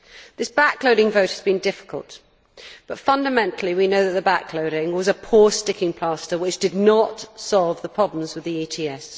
This back loading vote has been difficult, but fundamentally we know that the back loading was a poor sticking plaster which did not solve the problems with the ETS.